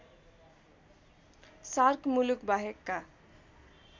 shark मुलुक बाहेकका